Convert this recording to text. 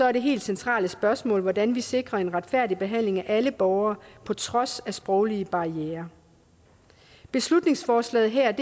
er det helt centrale spørgsmål hvordan vi sikrer en retfærdig behandling af alle borgere på trods af sproglige barrierer beslutningsforslaget her